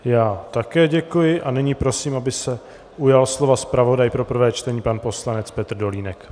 Já také děkuji a nyní prosím, aby se ujal slova zpravodaj pro prvé čtení pan poslanec Petr Dolínek.